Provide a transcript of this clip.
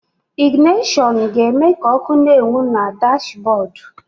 Ịgịnashọnụ ga-eme ka ọ́kụ́ na-enwu na dashbọọdụ.